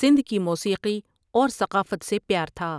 سندھ کی موسیقی اور ثقافت سے پیار تھا ۔